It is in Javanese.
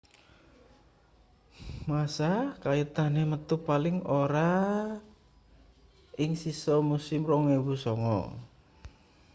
massa kaitane metu paling ora ing sisa musim 2009